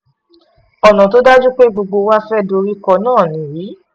ọ̀nà tó dájú pé gbogbo wa fẹ́ẹ́ dorí kọ náà nìyí